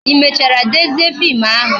I mechara dezie fim ahụ?